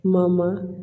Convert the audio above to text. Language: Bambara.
Kuma ma